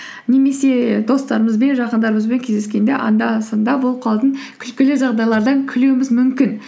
немесе достарымызбен жақындарымызбен кездескенде анда санда болып қалатын күлкілі жағдайлардан күлуіміз мүмкін